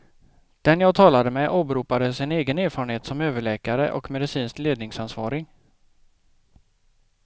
Den jag talade med åberopade sin egen erfarenhet som överläkare och medicinskt ledningsansvarig.